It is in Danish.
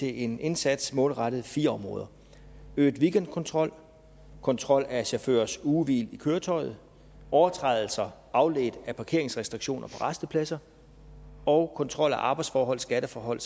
i en indsats målrettet fire områder øget weekendkontrol kontrol af chaufførers ugehvil i køretøjet overtrædelser afledt af parkeringsrestriktioner på rastepladser og kontrol af arbejdsforhold skatteforhold